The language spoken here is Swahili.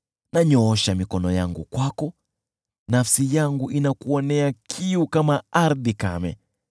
Nanyoosha mikono yangu kwako, nafsi yangu inakuonea kiu kama ardhi kame.